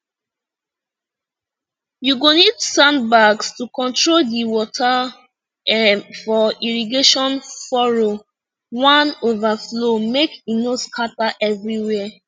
you go need sandbags to control di water um for irrigation furrow wan overflow make e no scatter everywhere